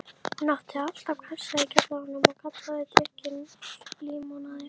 Hún átti alltaf kassa í kjallaranum og kallaði drykkinn límonaði.